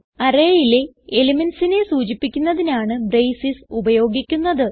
arrayയിലെ elementsനെ സൂചിപ്പിക്കുന്നതിനാണ് ബ്രേസസ് ഉപയോഗിക്കുന്നത്